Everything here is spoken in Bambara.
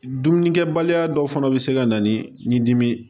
Dumunikɛbaliya dɔw fana bɛ se ka na ni dimi ye